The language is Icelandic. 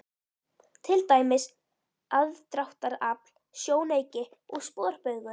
Til dæmis: aðdráttarafl, sjónauki og sporbaugur.